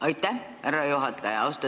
Aitäh, härra juhataja!